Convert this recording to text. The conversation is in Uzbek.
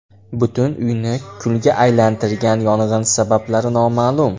Butun uyni kulga aylantirgan yong‘in sabablari noma’lum.